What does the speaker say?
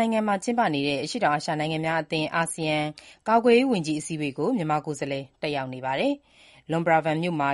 နိုင်ငံမှာ ကျင်းပနေတဲ့ အရှေ့တောင်အာရှ နိုင်ငံများအသင်း (အာဆီယံ) ကာကွယ်ရေးဝန်ကြီး အစည်းအဝေးကို မြန်မာကိုယ်စားလှယ် တက်ရောက်နေပါတယ်။ Luang Prabang မြို့မှာ